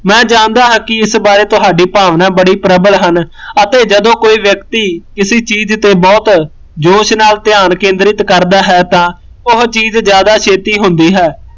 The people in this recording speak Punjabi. ਮੈਂ ਜਾਣਦਾ ਹਾਂ ਕੀ ਇਸ ਬਾਰੇ ਤੁਹਾਡੀ ਭਾਵਨਾ ਬੜੀ ਪ੍ਰਬੱਲ ਹਨ, ਅਤੇ ਜਦੋਂ ਕੋਈ ਵਿਅਕਤੀ ਕਿਸੀ ਚੀਜ਼ ਤੇ ਬਹੁਤ ਜੋਸ਼ ਨਾਲ਼ ਧਿਆਨ ਕੇਂਦਰਿਤ ਕਰਦਾ ਹੈ ਤਾਂ ਉਹ ਚੀਜ਼ ਜਿਆਦਾ ਛੇਤੀ ਹੁੰਦੀ ਹੈ